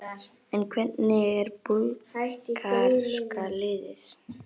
En hvernig er búlgarska liðið?